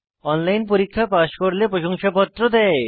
online পরীক্ষা pass করলে প্রশংসাপত্র দেয়